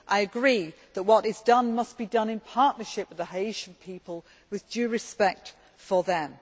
I agree that what is done must be done in partnership with the Haitian people with due respect for them.